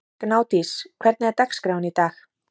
Gnádís, hvernig er dagskráin í dag?